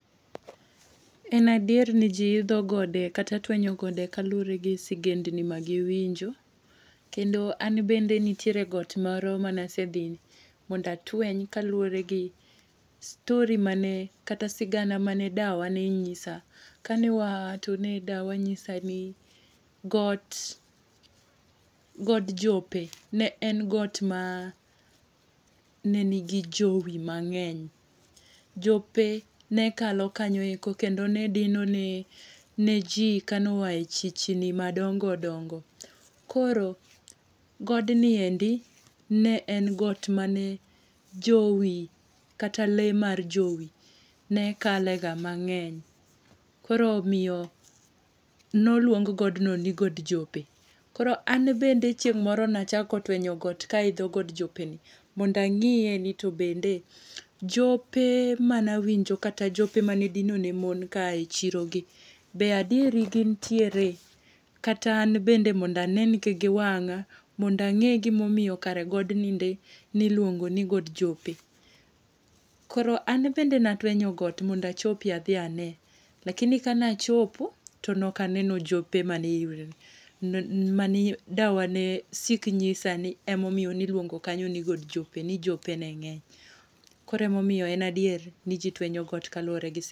En adier ni ji idho gode, kata tweny gode kaluwore gi sigendni ma giwinjo. Kendo an bende nitie got moro mane asedhi mondo atweny, kaluwore gi story mane, kata sigana mane dawa ne nyisa. Kane waa, to ne dawa nyisa ni got, god jope ne en got ma ne nigi jowi mangény. Jope nekalo kanyo eko, kendo nedino ne, ne ji ka noae chichni madongo dongo. Koro godni endi ne en got mane jowi, kata le mar jowi, ne kale ga mangény. Koro omiyo ne oluong godno ni god jope. Koro an bende chieng' moro ne achako twenyo got ka aidho god jope ni, mondo ang'íye ni to bende jope mane awinjo, kata jope manedino ne mon kaae chiro gi be adieri gin tiere? Kata an bende mondo anengi gi wangá, mondo angé gima omiyo kara godni nde niluongo ni god jope. Koro an bende ne atwenyo got mondo achopie adhi ane. Lakini ka ne achopo, to nokaneno jope mane mane dawa ne sik nyisani ema omiyo ne iluongo kanyo ni god jope, ni jope ne ngény. Koro ema omiyo en adier ni ji twenyo got kaluwore gi sigana.